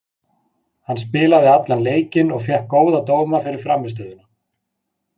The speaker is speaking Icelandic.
Hann spilaði allan leikinn og fékk góða dóma fyrir frammistöðuna.